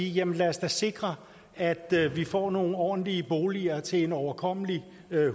jamen lad os da sikre at vi får nogle ordentlige boliger til en overkommelig